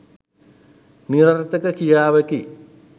නිරර්ථක ක්‍රියාවකි.